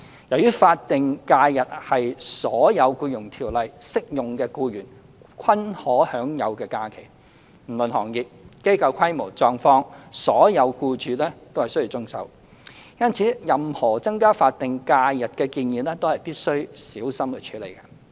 由於法定假日是所有《僱傭條例》適用的僱員均可享有的假期，不論行業、機構規模及狀況，所有僱主均須遵守，因此，任何增加法定假日的建議都必須小心處理。